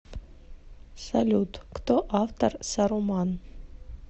салют кто автор саруман